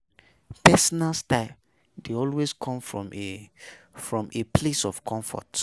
Personal style de also come from a from a place of comfort